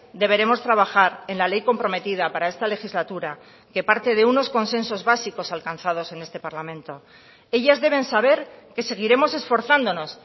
deberemos trabajar en la ley comprometida para esta legislatura que parte de unos consensos básicos alcanzados en este parlamento ellas deben saber que seguiremos esforzándonos